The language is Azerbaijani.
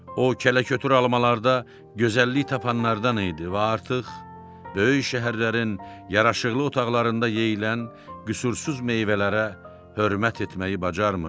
O kələ-kötür almalarda gözəllik tapanlardan idi və artıq böyük şəhərlərin yaraşıqlı otaqlarında yeyilən qüsursuz meyvələrə hörmət etməyi bacarmırdı.